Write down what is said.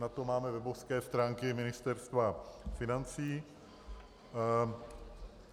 Na to máme webové stránky Ministerstva financí.